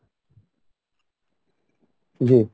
জি